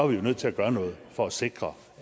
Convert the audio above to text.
vi jo nødt til at gøre noget for at sikre